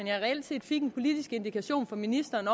jeg reelt set fik en politisk indikation fra ministeren